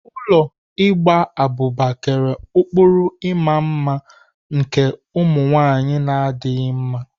Ụlọ igba abụba kere ụkpụrụ ịma mma nke ụmụ nwaanyị na adịghị mma.